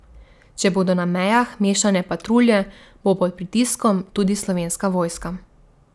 Če bodo na mejah mešane patrulje, bo pod pritiskom tudi slovenska vojska.